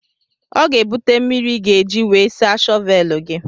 Ọ ga-ebute mmiri ị ga-eji wee saa shọvelụ gị.